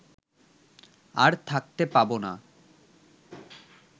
আর থাকতে পাব না